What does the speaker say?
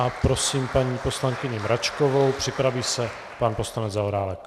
A prosím paní poslankyni Mračkovou, připraví se pan poslanec Zaorálek.